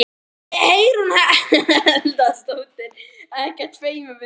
Hugrún Halldórsdóttir: Ekkert feiminn við þetta?